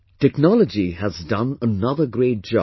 Technology has done another great job